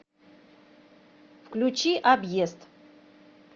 включи объезд